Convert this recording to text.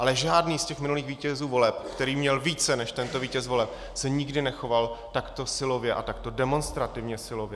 Ale žádný z těch minulých vítězů voleb, který měl více než tento vítěz voleb, se nikdy nechoval takto silově a takto demonstrativně silově.